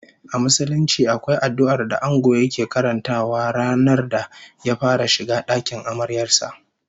A Musulunci akwai addu'ar da Ango yake karantawa ranar da ya fara shiga dakin amaryar sa